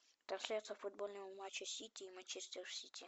трансляция футбольного матча сити и манчестер сити